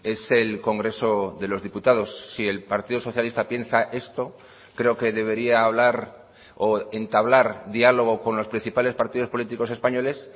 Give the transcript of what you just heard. es el congreso de los diputados si el partido socialista piensa esto creo que debería hablar o entablar diálogo con los principales partidos políticos españoles